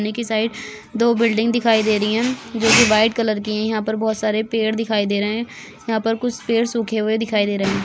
Side दो building दिखाई दे रही है जो की व्हाइट कलर की है यहाँ पर बहुत सारे पेड़ दिखाई दे रहे है यहाँ पर कुछ पेड़ सूखे हुए दिखाई दे रहे है।